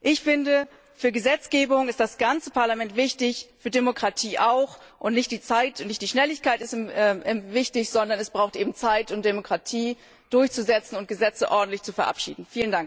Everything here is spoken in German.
Ich finde, für Gesetzgebung ist das ganze Parlament wichtig, für Demokratie auch, und nicht Zeit und Schnelligkeit sind wichtig, sondern es braucht eben Zeit, um Demokratie durchzusetzen und Gesetze ordentlich zu verabschieden.